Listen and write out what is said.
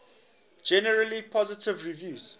generally positive reviews